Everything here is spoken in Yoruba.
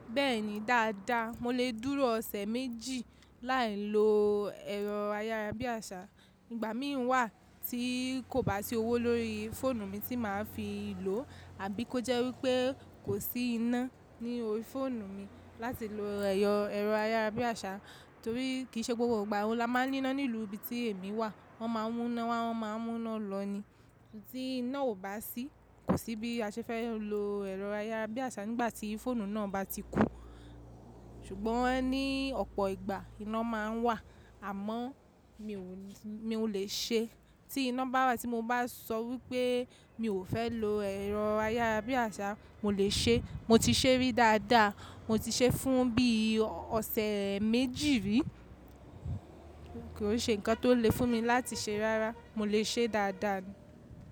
Bẹ́ẹ̀ni dáadáa, mo lè dúró ọ̀sẹ̀ méjì láì lo ẹ̀rọ ayárabíàṣá. Ìgbà mìíràn wà tí kò bá sí owó lórí fóònù mi tí màá fi lò àbí kó jẹ́ wípé kò sí iná ní orí fóònù mi láti lo ẹ̀rọ ayárabíàṣá torí kì í ṣe gbogbo ìgbà ohun la máa ń ní iná nílú ibi tí èmi wà. Wọ́n máa ń mú iná wá, wọ́n máa ń mú iná lọ ni. Tí iná ò bá sí, kò sí bí a ṣe fẹ́ lo ẹ̀rọ ayárabíàṣá nígbà tí fóònù náà bá ti kù. Ṣùgbọ́n ní ọ̀pọ̀ ìgbà iná máa ń wà àmọ́ mi ò lè ṣe é. Tí iná bá wà tí mo bá sọ wípé mi ò fẹ́ lo ẹ̀rọ ayárabíàṣá, mo lè ṣe é. Mo ti ṣe rí dáadáa, mo ti ṣe é fún bí i ọ̀sẹ̀ méjì rí. Kò n se ǹkan tó le fún mi láti ṣe rárá, mo lè ṣe é dáadáa.